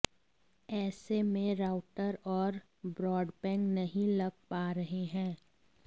ऐसे में राउटर और ब्रॉडबैंड नहीं लग पा रहे हैं